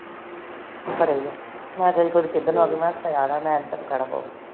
ਘਰੇ ਈਏ ਮੈ ਤੂਰ ਕੇ ਇਧਰ ਨੂੰ ਆਗੀ